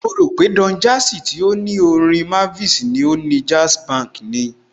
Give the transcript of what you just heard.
Mo rò pé Don Jazzy tí ó ní ilé Orin Mavins ni ó ni Jazzbank ni.